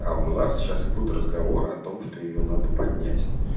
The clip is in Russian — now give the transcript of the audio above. а у нас сейчас идут разговоры о том что её надо поднять